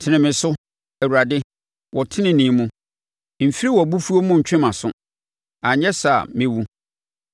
Tene me so, Awurade, wɔ tenenee mu, mfiri wʼabofuo mu ntwe mʼaso anyɛ saa a, mɛwu.